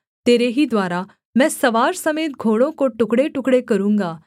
तेरे ही द्वारा मैं सवार समेत घोड़ों को टुकड़ेटुकड़े करूँगा